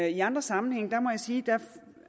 i andre sammenhænge må jeg sige